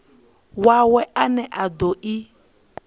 wawe ane a do i